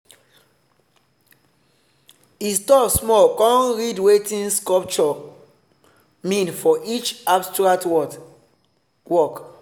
he stop small con read wetin sculptor mean for each abstract work.